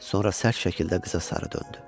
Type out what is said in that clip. Sonra sərt şəkildə qıza sarı döndü.